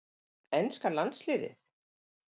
Enska landsliðið?